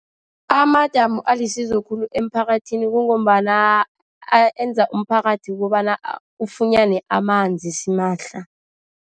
Amadamu alisizo khulu emphakathini kungombana enza umphakathi kukobana ufunyane amanzi simahla.